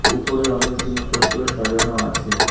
উপরে অনেক জিনিসপত্র সাজানো আছে।